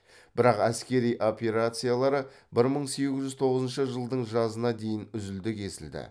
бірақ әскери операциялары бір мың сегіз жүз тоғызыншы жылдың жазына дейін үзілді кесілді